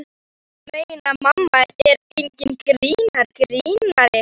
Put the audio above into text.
Ég meina, mamma er enginn grínari.